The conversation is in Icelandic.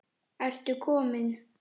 Ertu kominn!